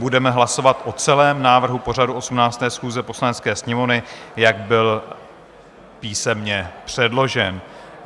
Budeme hlasovat o celém návrhu pořadu 18. schůze Poslanecké sněmovny, jak byl písemně předložen.